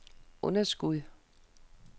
underskud